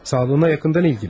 Sağlığına yaxından ilgili.